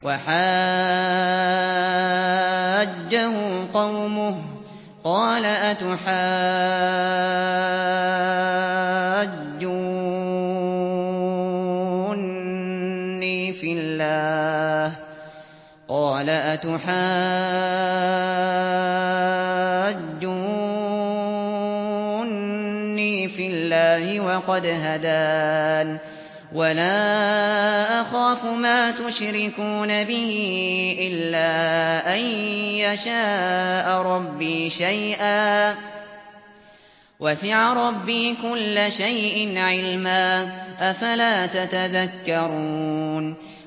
وَحَاجَّهُ قَوْمُهُ ۚ قَالَ أَتُحَاجُّونِّي فِي اللَّهِ وَقَدْ هَدَانِ ۚ وَلَا أَخَافُ مَا تُشْرِكُونَ بِهِ إِلَّا أَن يَشَاءَ رَبِّي شَيْئًا ۗ وَسِعَ رَبِّي كُلَّ شَيْءٍ عِلْمًا ۗ أَفَلَا تَتَذَكَّرُونَ